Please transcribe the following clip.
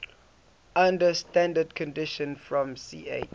under standard conditions from ch